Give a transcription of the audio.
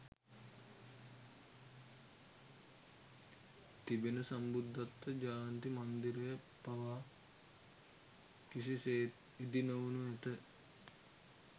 තිබෙන සම්බුද්ධත්ව ජයන්ති මන්දිරය පවා කිසිසේත් ඉදිනොවනු ඇත